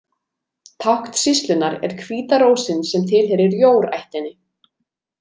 Tákn sýslunnar er hvíta rósin sem tilheyrir Jór-ættinni.